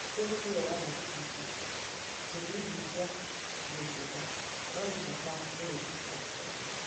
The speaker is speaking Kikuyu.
Mĩtitũ nĩ yoyaga gĩcunjĩ kĩnini kĩa mĩgũnda no nĩ bata mũno kũrĩ ũtonga.